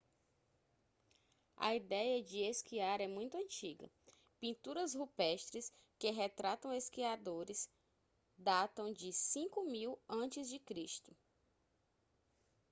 a ideia de esquiar é muito antiga pinturas rupestres que retratam esquiadores datam de 5000 a.c